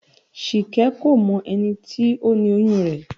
Ṣìkẹ́ kò mọ ẹni tó ni oyún rẹ̀